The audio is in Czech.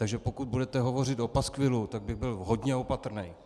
Takže pokud budete hovořit o paskvilu, tak bych byl hodně opatrný.